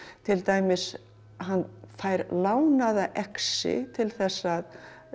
til dæmis hann fær lánaða exi til þess að